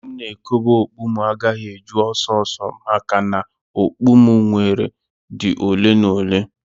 Ebe m na ekobe okpu agaghị eju ọsọ ọsọ maka na okpu m nwere dị ole na ole